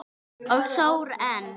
Og sór enn.